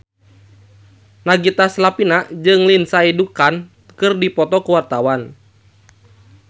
Nagita Slavina jeung Lindsay Ducan keur dipoto ku wartawan